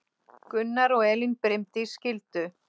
Gunnar og Elín Brimdís skildu.